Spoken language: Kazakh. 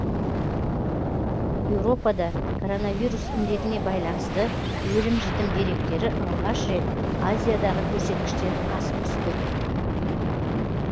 еуропада коронавирус індетіне байланысты өлім жітім деректері алғаш рет азиядағы көрсеткіштен асып түсті